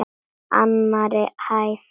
Annarri hæð.